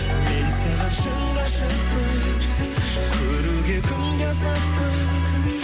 мен саған шын ғашықпын көруге күнде асықпын